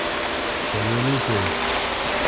повелитель